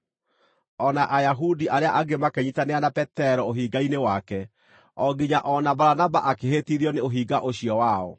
O na Ayahudi arĩa angĩ makĩnyiitanĩra na Petero ũhinga-inĩ wake, o nginya o na Baranaba akĩhĩtithio nĩ ũhinga ũcio wao.